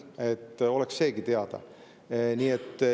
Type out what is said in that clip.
Et oleks seegi teada.